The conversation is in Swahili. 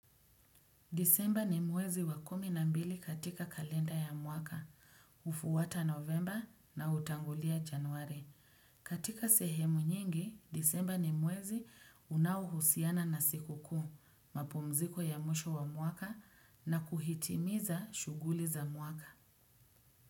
Disemba ni mwezi wa kumi na mbili katika kalenda ya mwaka, hufuwata novemba na hutangulia januari. Katika sehemu nyingi, disemba ni mwezi unaohusiana na siku kuu, mapumziko ya mwisho wa mwaka na kuhitimiza shuguli za mwaka.